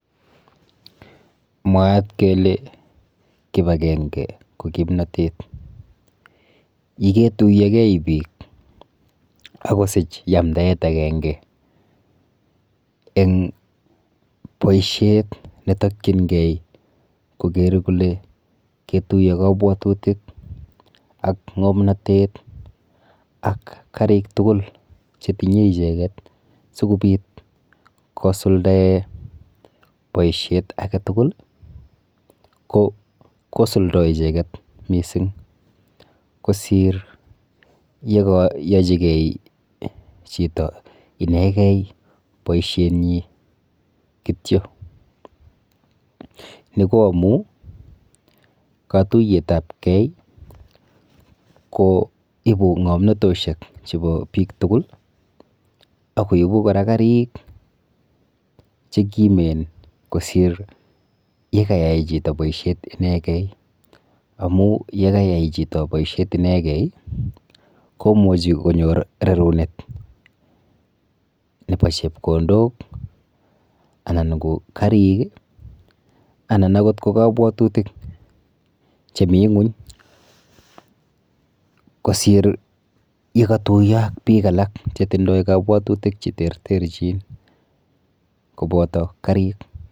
Mwaat kele kipakenge ko kimnotet. Yiketuiyogei biik akosich yamdaet akenge eng boishet netokchingei koker kole ketuiyo kabwatutik ak ng'omnotet ak karik tugul chetinye icheket sikobit kosuldae boishet aketugul ko kosuldoi icheket mising kosir yekayochikei chito inegei boishenyi kityo. Ni ko amu katuiyetapkei koibu ng'omnatoshek chepo biik tugul akopbu kora karik chekimen kosir yekayai chito boishet inegei amu yekayai chito boishet inegei komuchi konyor rerunet nepo chepkondok anan ko karik anan akot ko kabwatutik chemi ng'uny kosir yekatuiyo ak biik alak chetindoi kabwatutik cheterterchin kopoto karik.